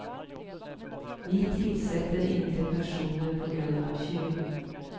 Vi tillsätter inte personer på grund av kön.